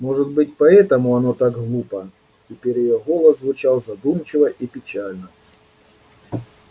может быть поэтому оно так глупо теперь её голос звучал задумчиво и печально